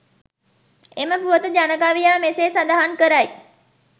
එම පුවත ජනකවියා මෙසේ සඳහන් කරයි.